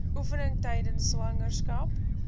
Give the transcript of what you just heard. oefeninge tydens swangerskap